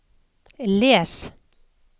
les